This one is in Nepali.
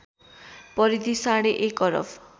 परिधि साढे एक अरब